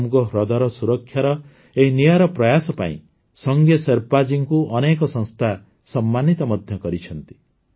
ସୋମ୍ଗୋ ହ୍ରଦର ସୁରକ୍ଷାର ଏହି ନିଆରା ପ୍ରୟାସ ପାଇଁ ସଙ୍ଗେ ଶେର୍ପା ଜୀଙ୍କୁ ଅନେକ ସଂସ୍ଥା ସମ୍ମାନିତ ମଧ୍ୟ କରିଛନ୍ତି